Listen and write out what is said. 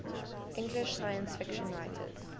english science fiction writers